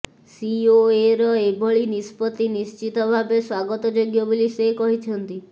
ସିଓଏର ଏଭଳି ନିଷ୍ପତ୍ତି ନିଶ୍ଚିତ ଭାବେ ସ୍ବାଗତଯୋଗ୍ୟ ବୋଲି ସେ କହିଛନ୍ତି